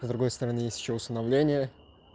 с другой стороны есть ещё усыновление